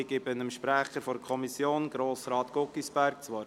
Ich erteile dem Sprecher der Kommission, Grossrat Guggisberg, das Wort.